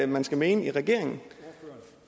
man skal mene i regeringen